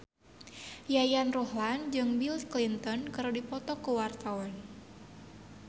Yayan Ruhlan jeung Bill Clinton keur dipoto ku wartawan